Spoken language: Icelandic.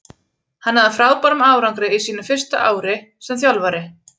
Hann náði frábærum árangri á sínu fyrsta ári sem þjálfari.